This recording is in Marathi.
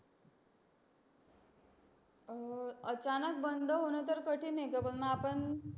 अह अचानक बंद होन तर कठीण आहे. ग पण आपण